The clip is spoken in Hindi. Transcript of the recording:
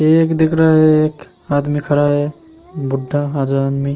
ये एक दिख रहा है ये एक आदमी खड़ा है बुड़ा आदमी।